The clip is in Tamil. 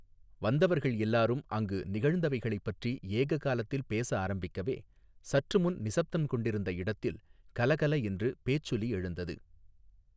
வந்தவர்கள் எல்லாரும் அங்கு நிகழ்ந்தவைகளைப் பற்றி ஏக காலத்தில் பேச ஆரம்பிக்கவே சற்றுமுன் நிசப்தம் கொண்டிருந்த இடத்தில் கல கல என்று பேச்சொலி எழுந்தது.